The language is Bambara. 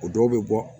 O dɔw bɛ bɔ